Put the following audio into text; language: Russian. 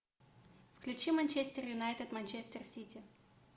включи манчестер юнайтед манчестер сити